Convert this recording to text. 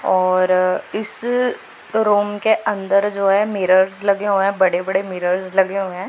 और इस रूम के अंदर जो है मिरर्स लगे हुए हैं बड़े बड़े मिरर्स लगे हुए हैं।